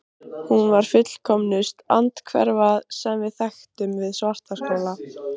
Hún var fullkomnust andhverfa, sem við þekktum, við Svartaskóla.